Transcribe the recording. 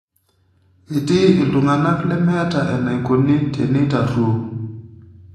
Etii iltung'ana lemeeta enaikoni teneitaruoo.